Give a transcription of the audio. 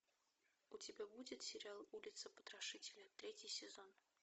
у тебя будет сериал улица потрошителя третий сезон